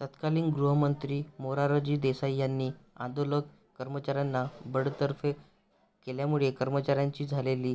तत्कालीन गृहमंत्री मोरारजी देसाई यांनी आंदोलक कर्मचाऱ्यांना बडतर्फ केल्यामुळे कर्मचाऱ्यांची झालेली